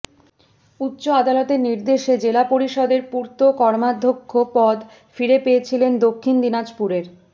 উচ্চ আদালতের নির্দেশে জেলা পরিষদের পূর্ত কর্মাধ্যক্ষ পদ ফিরে পেয়েছিলেন দক্ষিণ দিনাজপুরের